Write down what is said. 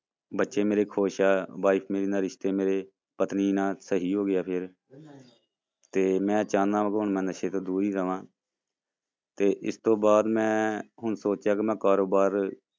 ਬੱਚੇ ਮੇਰੇ ਖ਼ੁਸ਼ ਆ wife ਮੇਰੀ ਨਾਲ ਰਿਸ਼ਤੇ ਮੇਰੇ ਪਤਨੀ ਨਾਲ ਸਹੀ ਹੋ ਗਿਆ ਫਿਰ ਤੇ ਮੈਂ ਚਾਹੁਨਾ ਕਿ ਹੁਣ ਮੈਂ ਨਸ਼ੇ ਤੋਂ ਦੂਰ ਹੀ ਰਵਾਂ ਤੇ ਇਸ ਤੋਂ ਬਾਅਦ ਮੈਂ ਹੁਣ ਸੋਚਿਆ ਕਿ ਮੈਂ ਕਾਰੋਬਾਰ